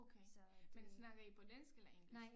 Okay men snakker I på dansk eller engelsk